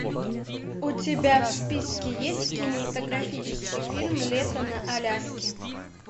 у тебя в списке есть кинематографический фильм лето на аляске